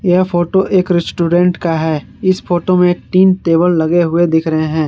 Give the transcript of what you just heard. यह फोटो एक रेस्टोरेंट का है इस फोटो में तीन टेबल लगे हुए दिख रहे हैं।